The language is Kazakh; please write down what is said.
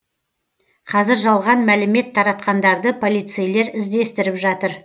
қазір жалған мәлімет таратқандарды полицейлер іздестіріп жатыр